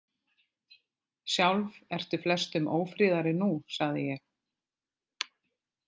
Sjálf ertu flestum ófríðari nú, sagði ég.